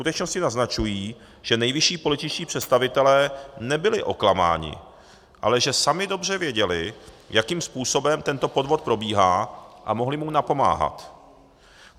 Skutečnosti naznačují, že nejvyšší političtí představitelé nebyli oklamáni, ale že sami dobře věděli, jakým způsobem tento podvod probíhá, a mohli mu napomáhat.